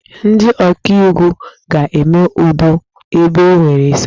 Ndị ọkaiwu ga-eme udo ebe e nwere esemokwu.